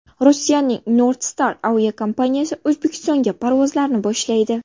Rossiyaning NordStar aviakompaniyasi O‘zbekistonga parvozlarni boshlaydi.